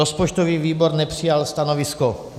Rozpočtový výbor nepřijal stanovisko.